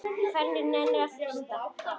Hver nennir að hlusta á.